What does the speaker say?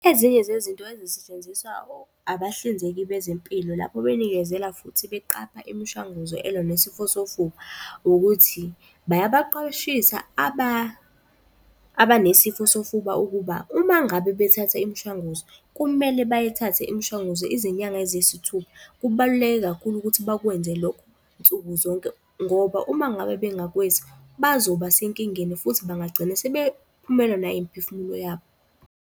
Ezinye zezinto ezisetshenziswa abahlinzeki bezempilo lapho benikezela futhi beqapha imishanguzo elwa nesifo sofuba, ukuthi babaqwashisa abanesifo sofuba ukuba uma ngabe bethatha imishwanguzo, kumele bayithathe imishwanguzo izinyanga eziyisithupha. Kubaluleke kakhulu ukuthi bawenze lokho nsuku zonke ngoba uma ngabe bengakwenzi bazoba senkingeni futhi bangagcine sebephumelwa nayimiphefumulo yabo.